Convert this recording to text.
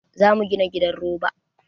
Za mu gina gidan roba.